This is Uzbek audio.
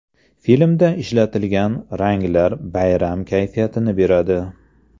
Filmda ishlatilgan ranglar bayram kayfiyatini beradi.